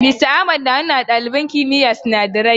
Mista Ahmad na nuna wa ɗaliban ɗakin kimiyyar sinadarai.